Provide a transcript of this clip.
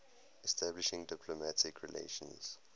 establishing diplomatic relations